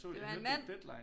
Det var en mand